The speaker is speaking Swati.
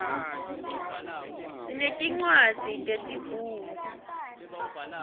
sinetincwadzi tesibhunu